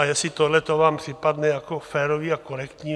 A jestli tohle vám připadne jako férové a korektní...